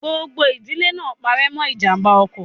Gbogbo ìdílé náà pare mọ ijàmbá ọkọ̀.